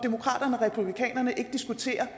republikanerne ikke diskuterer